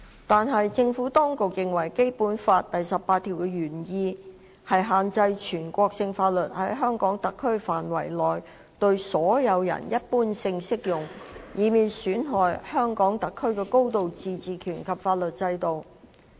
但是，政府當局認為《基本法》第十八條的原意，是要限制全國性法律在香港特區範圍內對所有人一般性適用，以免損害香港特區的高度自治權及法律制度。